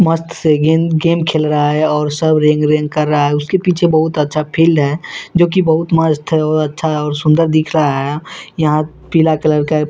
मस्त से गेंद गेम खेल रहा है और सब रेंग रेंग कर रहा है उसके पीछे बहुत अच्छा फील्ड है जो की बहुत मस्त है और अच्छा है और सुंदर दिख रहा है यहां पीला कलर का --